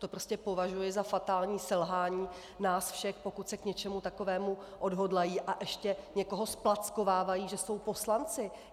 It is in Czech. To prostě považuji za fatální selhání nás všech, pokud se k něčemu takovému odhodlají a ještě někoho zplackovávají, že jsou poslanci.